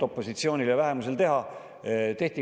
Opositsioonil ja vähemusel ei olnud midagi teha.